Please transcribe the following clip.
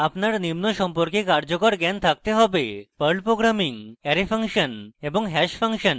আপনার নিম্ন সম্পর্কে কার্যকর জ্ঞান থাকতে হব